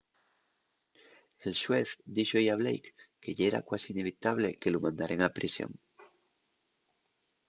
el xuez díxo-y a blake que yera cuasi inevitable” que lu mandaren a prisión